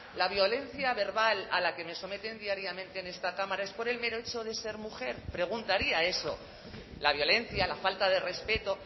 la violencia verbal a la que me someten diariamente en esta cámara es por el mero hecho de ser mujer preguntaría eso la violencia la falta de respeto